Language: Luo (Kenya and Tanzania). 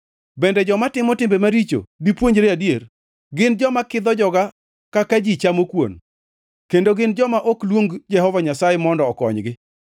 Bende joma timo timbe maricho dipuonjre adier? Gin joma kidho joga kaka ji chamo kuon; kendo gin joma ok luong Jehova Nyasaye mondo okonygi.